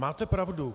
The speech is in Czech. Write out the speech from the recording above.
Máte pravdu.